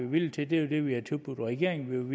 villige til det vi havde tilbudt regeringen